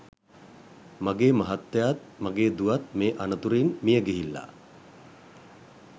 මගේ මහත්තයාත් මගේ දුවත් මේ අනතුරින් මියගිහිල්ලා